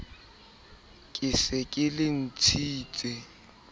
ke se ke le ntshitse